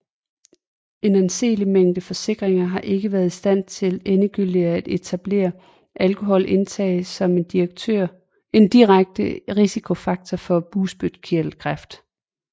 En anseelig mængde forskning har ikke været i stand til endegyldigt at etablere alkoholindtag som en direkte risikofaktor for bugspytkirtelkræft